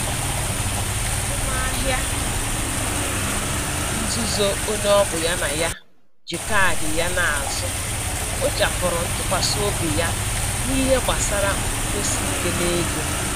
Azụmahịa nzuzo onye ọbụ ya na ya ji kaadị ya na-azụ kpochapụrụ ntụkwasị obi ya n'ihe gbasara nkwụdosike n'ego